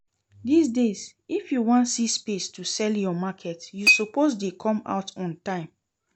This days if you wan see space to sell your market you suppose dey come out on time